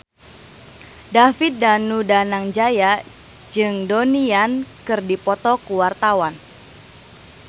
David Danu Danangjaya jeung Donnie Yan keur dipoto ku wartawan